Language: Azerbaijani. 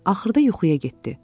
Axırda yuxuya getdi.